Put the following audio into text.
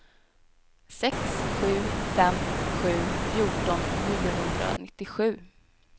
sex sju fem sju fjorton niohundranittiosju